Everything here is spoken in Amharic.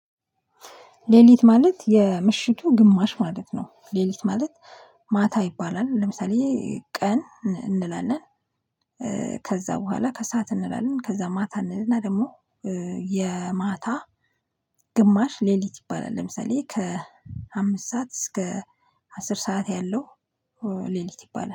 ሌሊት ማለት የምሽቱ ግማሽ ማለት ነው ሌሊት ማለት ማታ ይባላል ለምሳሌ ቀን እንላለን። ከዛ በኋላ ከሰአት እንላለን ከዛ ማታ እንልና ደግሞ የማታ ግማሽ ሌሊት ይባላል። ለምሳሌ ከአምስት ሰዓት እስከ አስር ሰዓት ያለው ሌሊት ይባላል